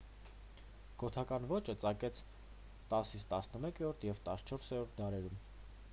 գոթական ոճը ծաղկեց 10-11 և 14-րդ դարերում